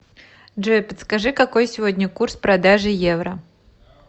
джой подскажи какой сегодня курс продажи евро